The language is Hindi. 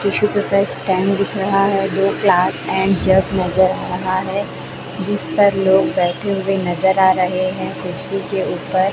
पीछे स्टैंड दिख रहा है दो ग्लास एंड जग नजर आ रहा है जिस पर लोग बैठे हुए नजर आ रहे है कुर्सी के ऊपर--